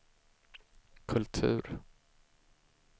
kultur